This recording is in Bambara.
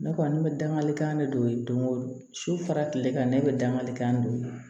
Ne kɔni ne bɛ dangalikan de don so fara kile kan ne bɛ dangarikan don